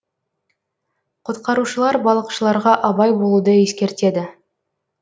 құтқарушылар балықшыларға абай болуды ескертеді